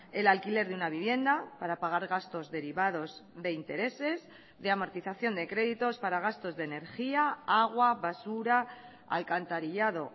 el alquiler de una vivienda para pagar gastos derivados de intereses de amortización de créditos para gastos de energía agua basura alcantarillado